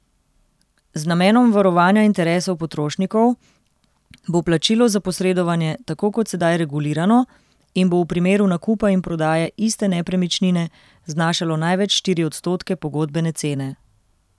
Z namenom varovanja interesov potrošnikov bo plačilo za posredovanje tako kot sedaj regulirano in bo v primeru nakupa in prodaje iste nepremičnine znašalo največ štiri odstotke pogodbene cene.